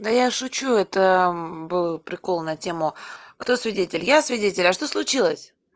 да я шучу это был прикол на тему кто свидетель я свидетель а что случилось